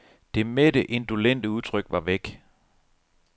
Det mætte, indolente udtryk var væk.